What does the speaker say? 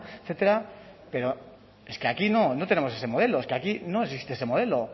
etcétera pero es que aquí no tenemos ese modelo es que aquí no existe ese modelo